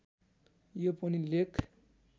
यो पनि लेख